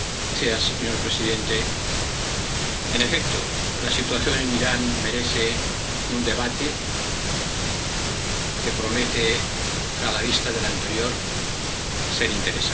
Señora presidenta, en efecto, la situación en Irán merece un debate que promete, a la vista del anterior, ser interesante.